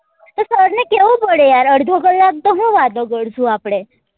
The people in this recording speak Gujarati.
કેવું પડે યાર અડધો કલાક તો હું વાતો કરશું આપડે